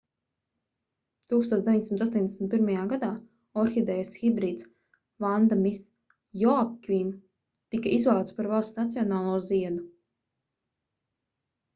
1981. gadā orhidejas hibrīds vanda miss joaquim tika izvēlēts par valsts nacionālo ziedu